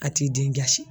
A t'i den kasi